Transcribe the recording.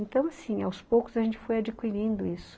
Então, assim, aos poucos a gente foi adquirindo isso.